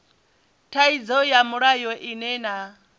thaidzo ya mulayo ine na